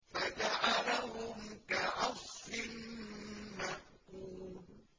فَجَعَلَهُمْ كَعَصْفٍ مَّأْكُولٍ